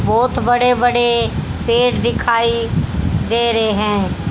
बहोत बड़े बड़े पेड़ दिखाई दे रहे हैं।